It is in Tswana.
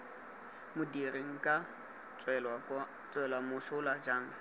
modiri nka tswelwa mosola jang